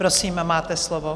Prosím, máte slovo.